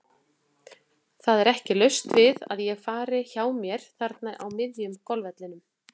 Það er ekki laust við að ég fari hjá mér þarna á miðjum golfvellinum.